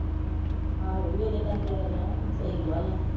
ਆਹੋ ਵੀ ਉਹਦੇ ਕਰਕੇ ਹੀ ਅੜਿਆ ਹੁਣ ਸਹੀ ਗੱਲ ਆ।